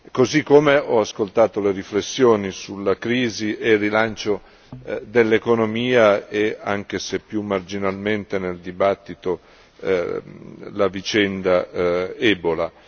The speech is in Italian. Così come ho ascoltato le riflessioni sulla crisi e il rilancio dell'economia e anche se più marginalmente nel dibattito, la vicenda Ebola.